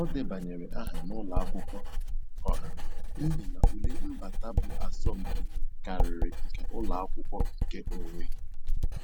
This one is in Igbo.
O debanyere aha n'ụlọ akwụkwọ ọha n'ihi na ule mbata bụ asọmpi karịrị nke ụlọ akwụkwọ nkeonwe.